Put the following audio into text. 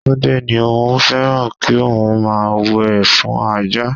Tunde ní òun féràn kí òun máa wẹ̀ fún Ajá.